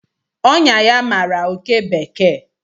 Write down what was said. Ọnyá ya mara oké bekee